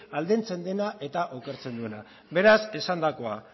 aldentzen dena eta okertzen duena beraz esandakoa